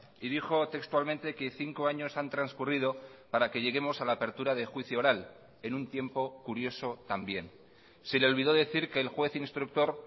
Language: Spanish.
y dijo textualmente que cinco años han transcurrido para que lleguemos a la apertura de juicio oral en un tiempo curioso también se le olvidó decir que el juez instructor